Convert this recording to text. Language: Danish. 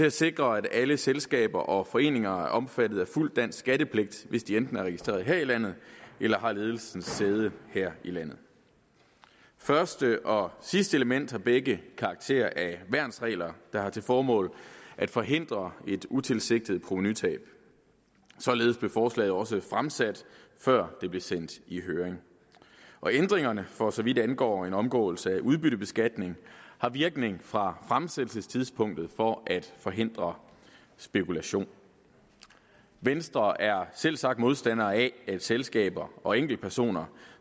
at sikre at alle selskaber og foreninger er omfattet af fuld dansk skattepligt hvis de enten er registreret her i landet eller har ledelsens sæde her i landet første og sidste element har begge karakter af værnsregler der har til formål at forhindre et utilsigtet provenutab således blev forslaget også fremsat før det blev sendt i høring ændringerne for så vidt angår en omgåelse af udbyttebeskatning har virkning fra fremsættelsestidspunktet for at forhindre spekulation venstre er selvsagt modstander af at selskaber og enkeltpersoner